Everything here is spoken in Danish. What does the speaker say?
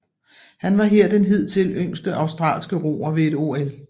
Han var her den hidtil yngste australske roer ved et OL